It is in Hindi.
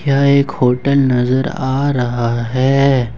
यह एक होटल नजर आ रहा है।